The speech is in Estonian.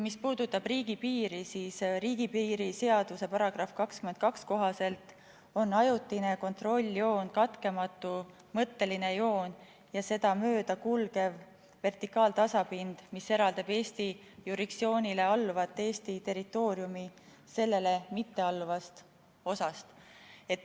Mis puudutab riigipiiri, siis riigipiiri seaduse § 22 kohaselt on ajutine kontrolljoon katkematu mõtteline joon ja seda mööda kulgev vertikaaltasapind, mis eraldab Eesti jurisdiktsioonile alluvat Eesti territooriumi sellele mittealluvast osast.